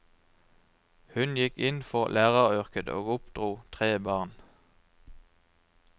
Hun gikk inn for læreryrket og oppdro tre barn.